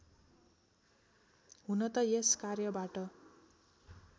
हुन त यस कार्यबाट